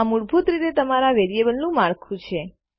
આ મૂળભૂત રીતે તમારા વેરીએબલનું માળખું છે